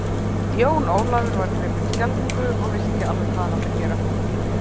Jón Ólafur var gripinn skelfingu og vissi ekki alveg hvað hann átti að gera.